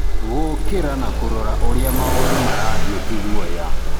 Gũkira na kurora uria maũndũ marathiĩ ti guoya.